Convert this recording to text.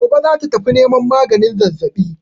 Gobe za ta tafi neman maganin zazzaɓin.